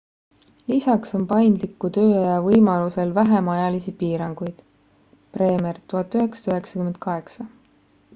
lisaks on paindliku tööaja võimalusel vähem ajalisi piiranguid. bremer 1998